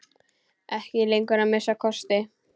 Ekki lengur, að minnsta kosti.